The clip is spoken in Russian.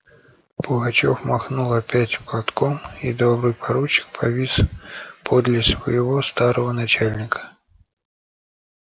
пугачёв махнул опять платком и добрый поручик повис подле своего старого начальника